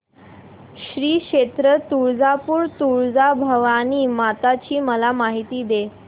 श्री क्षेत्र तुळजापूर तुळजाभवानी माता ची मला माहिती दे